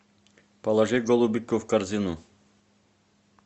положи голубику в корзину